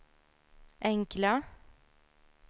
enkla